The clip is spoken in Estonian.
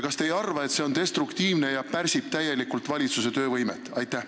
Kas te ei arva, et see on destruktiivne ja pärsib täielikult valitsuse töövõimet?